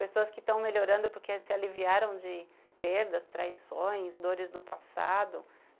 Pessoas que estão melhorando porque se aliviaram de perdas, traições, dores do passado.